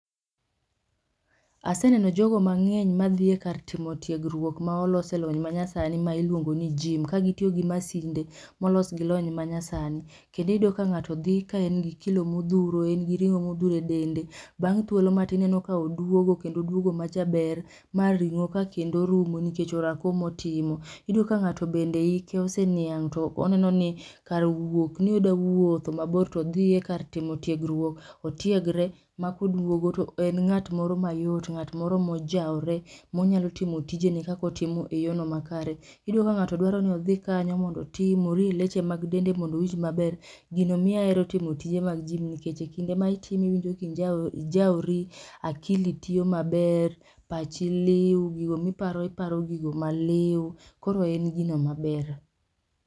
Asaneno jogo mang'eny madhie kar timo tiegruok ma olos e lony manyasani ma iluong ni jim kagitiyo gi masinde molos gi lony manyasani. Kendiyudo ka ng'ato dhi kaen gi kilo modhuro en gi ring'o modhuro e dende. Bang' thuolo matin ineno ka oduogo kendo oduogo majaber ma ring'o ka kendo orumo nikech orako maotimo. Iyudoka ng'ato bende ike oseniang' to oneno ni kar wuok ni odawuotho mabor todhiye kar timo tiegruok otiegre. Ma koduogo to en ng'at moro mayot, ng'at moro mojwore monyalo timo tijene kakotimo e yono makare. Iyudo ka ng'ato dwaro ni odhi kanyo mondo otim orie leche mag dende mondowinj maber. Gino miya hero timo tije mag jim nikech e kinde ma itime iwinjo kijawori akili tiyo maber, pachi liw, gigo miparo, iparo gigo maliw. Koro en gino maber.